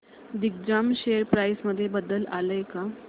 Digjam share price मध्ये बदल आलाय का